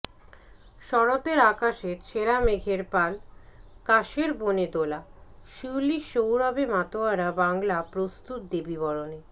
শরতের আকাশে ছেঁড়া মেঘের পাল কাশের বনে দোলা শিউলির সৌরভে মাতোয়ারা বাংলা প্রস্তুত দেবী বরণে